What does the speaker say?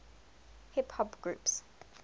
hip hop groups